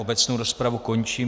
Obecnou rozpravu končím.